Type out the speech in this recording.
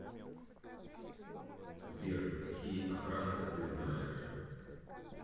сбер какие охранка ты знаешь